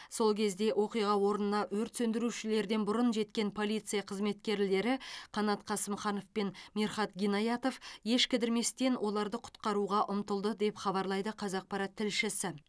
сол кезде оқиға орнына өрт сөндірушілерден бұрын жеткен полиция қызметкерлері қанат қасымханов пен мирхат гинаятов еш кідірместен оларды құтқаруға ұмтылды деп хабарлайды қазақпарат тілшісі